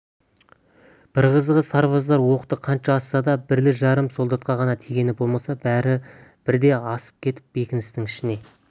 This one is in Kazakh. бір қызығы сарбаздар оқты қанша атса да бірлі-жарым солдатқа ғана тигені болмаса бәрі бірде асып кетіп бекіністің ішіне